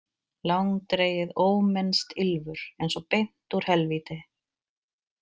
Langdregið ómennskt ýlfur, eins og beint úr helvíti.